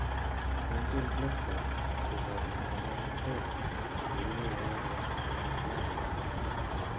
Branchial plexus ko kabukwanatet cheibu yaeet eng' nervisiek